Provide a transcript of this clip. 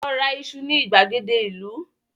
Lọ ra iṣu ní ìgbàgede ìlú!